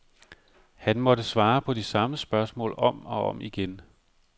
Han måtte svare på de samme spørgsmål om og om igen.